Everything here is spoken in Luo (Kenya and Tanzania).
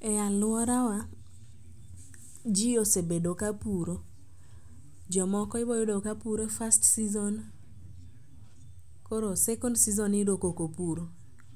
E alworawa ji osebedo ka puro, jomoko iboyudo kapuro first season koro second season iyudo kokopur.